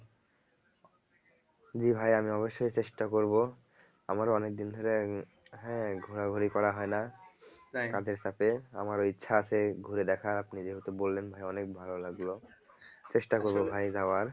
জি ভাই আমি অবশ্যই চেষ্টা করবো আমারও অনেকদিন ধরে হ্যাঁ ঘোরাঘুরি করা হয় না আমারও ইচ্ছা আছে ঘুরে দেখার আপনি যেহেতু বললেন ভাই অনেক ভালো লাগলো চেষ্টা করবো ভাই যাওয়ার